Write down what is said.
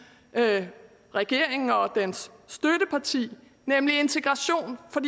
regeringen og dens støtteparti nemlig integration for